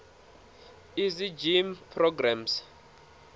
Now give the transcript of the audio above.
easy gym programs